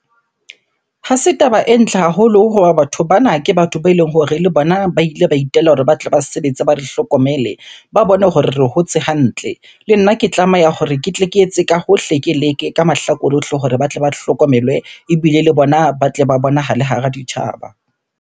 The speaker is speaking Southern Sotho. Ha se taba e ntle haholo hoba batho bana ke batho beleng hore le bona ba ile ba itela hore ba tle ba sebetse, ba re hlokomele, ba bone hore re hotse hantle. Le nna ke tlameha hore ke tle ke etse ka hohle, ke leke ka mahlakore ohle hore ba tle ba hlokomelwe ebile le bona ba tle ba bonahale hara ditjhaba.